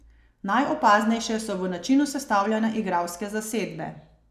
Najopaznejše so v načinu sestavljanja igralske zasedbe.